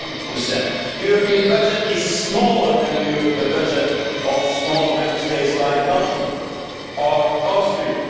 1. The European budget is smaller than the budget of smaller Member States like Belgium or Austria.